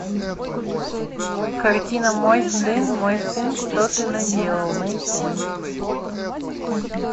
картина мой сын мой сын что ты наделал найти